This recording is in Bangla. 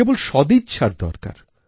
কেবল সদিচ্ছার দরকার